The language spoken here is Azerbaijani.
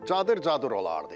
Cadır-cadır olardı.